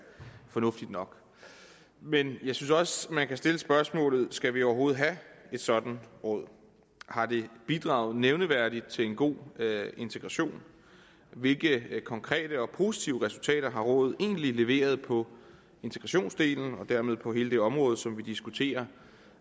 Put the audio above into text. fornuftigt nok men jeg synes også man kan stille spørgsmålene skal vi overhovedet have et sådant råd har det bidraget nævneværdigt til en god integration hvilke konkrete og positive resultater har rådet egentlig leveret på integrationsdelen og dermed på hele det område som vi diskuterer